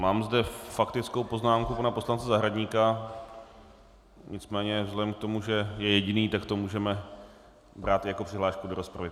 Mám zde faktickou poznámku pana poslance Zahradníka, nicméně vzhledem k tomu, že je jediný, tak to můžeme brát jako přihlášku do rozpravy.